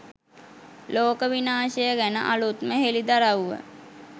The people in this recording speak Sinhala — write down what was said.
ලෝක විනාශය ගැන අලුත්ම හෙළිදරව්ව